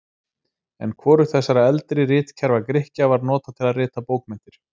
En hvorugt þessara eldri ritkerfa Grikkja var notað til að rita bókmenntir.